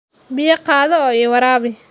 Biyo qaado oo i waraabi.